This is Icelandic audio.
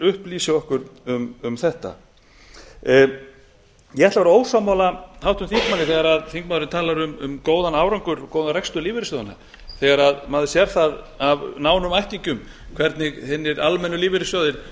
upplýsi okkur um þetta ég ætla að vera ósammála háttvirtum þingmanni þegar hann talar um góðan árangur og góðan rekstur lífeyrissjóðanna þegar maður sér það af nánum ættingjum hvernig hinir almennu lífeyrissjóðir